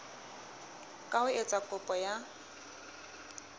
ka ho etsa kopo ya